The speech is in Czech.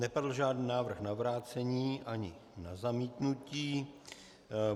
Nepadl žádný návrh na vrácení ani na zamítnutí.